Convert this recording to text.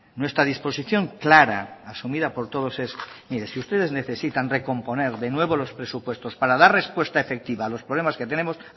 nuestra disposición clara asumida por todos es mire si ustedes necesitan recomponer de nuevo los presupuestos para dar respuesta efectiva a los problemas que tenemos